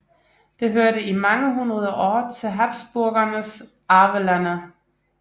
Det hørte i mange hundrede år til Habsburgernes arvelande